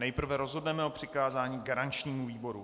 Nejprve rozhodneme o přikázání garančnímu výboru.